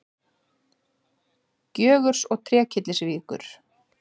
Gjögurs og Trékyllisvíkur.